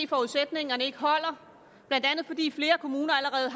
forudsætningerne ikke holder blandt andet fordi flere kommuner allerede